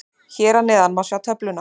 Hér að neðan má sjá töfluna.